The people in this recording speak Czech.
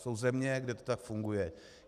Jsou země, kde to tak funguje.